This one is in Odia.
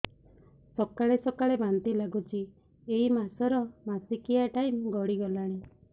ସକାଳେ ସକାଳେ ବାନ୍ତି ଲାଗୁଚି ଏଇ ମାସ ର ମାସିକିଆ ଟାଇମ ଗଡ଼ି ଗଲାଣି